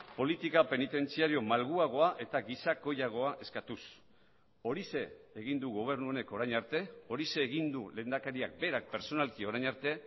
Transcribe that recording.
politika penitentziario malguagoa eta gizakoiagoa eskatuz horixe egin du gobernu honek orain arte horixe egin du lehendakariak berak pertsonalki orain arte